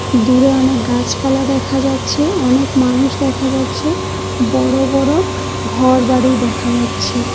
দূরে অনেক গাছপালা দেখা যাচ্ছে অনেক মানুষ দেখা যাচ্ছে বড় বড় ঘরবাড়ি দেখা যাচ্ছে।